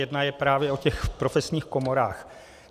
Jedna je právě o těch profesních komorách.